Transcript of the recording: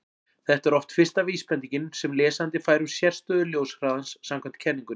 Þetta er oft fyrsta vísbendingin sem lesandi fær um sérstöðu ljóshraðans samkvæmt kenningunni.